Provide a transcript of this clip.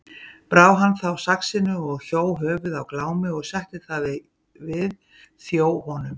Brá hann þá saxinu og hjó höfuð af Glámi og setti það við þjó honum.